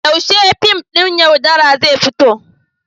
Yaushe fim ɗin "Yaudara" zai fito?